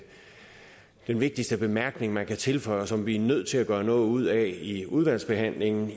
vigtigste bemærkning man kan tilføje og som vi er nødt til at gøre noget ud af i udvalgsbehandlingen